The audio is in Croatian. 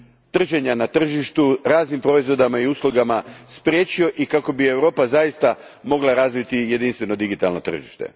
trženja na tržištu raznim proizvodima i uslugama spriječio i kako bi Europa zaista mogla razviti jedinstveno digitalno tržište.